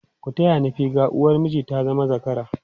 ku taya ni figa! uwar miji ta zama zakara!